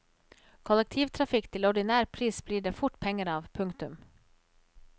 Kollektivtrafikk til ordinær pris blir det fort penger av. punktum